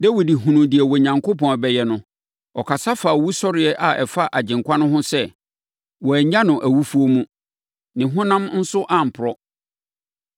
Dawid hunuu deɛ Onyankopɔn rebɛyɛ no, ɔkasa faa owusɔreɛ a ɛfa Agyenkwa no ho sɛ, ‘Wɔannya no awufoɔ mu. Ne honam nso amporɔ.’